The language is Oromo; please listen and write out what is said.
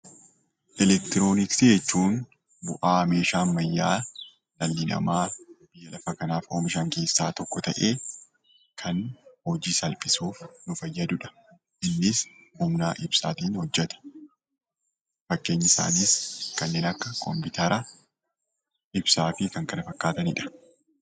Elektirooniksii jechuun bu'aa meeshaa ammayyaa dhalli namaa lafa kanaaf oomishan keessaa tokko ta'ee, kan hojii salphisuuf nu fayyadudha. Innis humnaa fi ibsaatiin hojjeta. Fakkeenyi isaanis kanneen akka kompiitara, ibsaa fi kan kana fakkaatanidha.